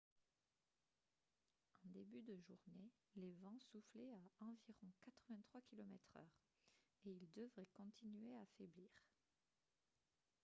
en début de journée les vents soufflaient à environ 83 km/h et ils devraient continuer à faiblir